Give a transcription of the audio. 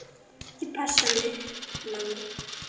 Ég passa mig, mamma.